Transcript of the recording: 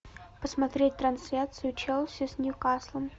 посмотреть трансляцию челси с ньюкаслом